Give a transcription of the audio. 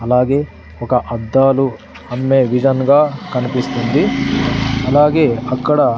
అలాగే ఒక అద్దాలు అమ్మే విధన్గా కనిపిస్తుంది అలాగే అక్కడ --